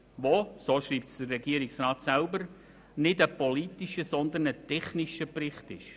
Es handle sich dabei, wie der Regierungsrat selber schreibt, nicht um einen politischen, sondern um einen technischen Bericht.